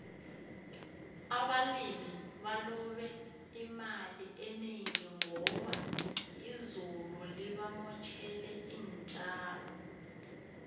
abalimi balobe imali enengi ngoba izulu libamotjele intjalo